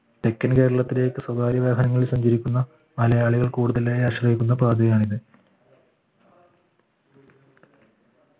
തെക്കൻ കേരളത്തിലേക്ക് സ്വകാര്യവാഹനങ്ങളിൽ സഞ്ചരിക്കുന്ന മലയാളികൾ കൂടുതലായി ആശ്രയിക്കുന്ന പാതിയാണിത്